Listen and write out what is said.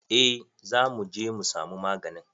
Eh za muje mu samu maganin.